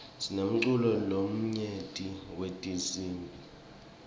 sinemculo lomnyenti wetinsibi